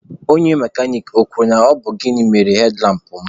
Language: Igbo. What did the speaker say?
Onye mekanik ọ kwuru na ọ bụ gịnị mere hedlampụ mụ?